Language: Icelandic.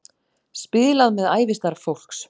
Spilað með ævistarf fólks